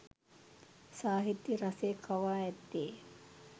සාහිත්‍ය රසය කවා ඇත්තේ